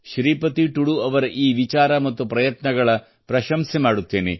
ಶ್ರೀಪತಿಯವರ ಈ ವಿಚಾರ ಮತ್ತು ಪ್ರಯತ್ನಗಳ ಪ್ರಶಂಸೆ ಮಾಡುತ್ತೇನೆ